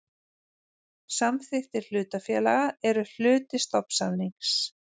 Samþykktir hlutafélaga eru hluti stofnsamnings.